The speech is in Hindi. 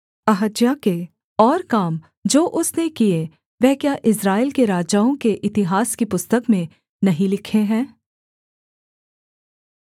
अहज्याह के और काम जो उसने किए वह क्या इस्राएल के राजाओं के इतिहास की पुस्तक में नहीं लिखे हैं